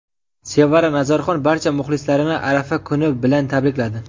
Sevara Nazarxon barcha muxlislarini arafa kuni bilan tabrikladi.